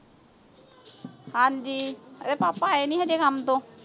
ਹਾਂਜੀ ਇਹਿੰਦੇ ਪਾਪਾ ਆਏ ਨਹੀਂ ਹਜੇ ਕੰਮ ਤੋਂ